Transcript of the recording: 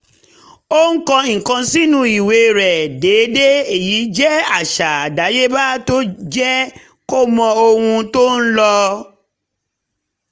ó ń kọ nǹkan sínú ìwé rẹ̀ déédéé èyí jẹ́ àṣà àdáyéba tó jẹ́ kó mọ ohun tó ń lọ